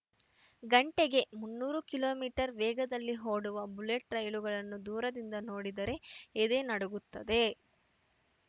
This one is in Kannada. ಗಂಟೆಗೆ ಮುನ್ನೂರು ಕಿಲೋ ಮೀಟರ್ ವೇಗದಲ್ಲಿ ಓಡುವ ಬುಲೆಟ್‌ ರೈಲುಗಳನ್ನು ದೂರದಿಂದ ನೋಡಿದರೇ ಎದೆ ನಡುಗುತ್ತದೆ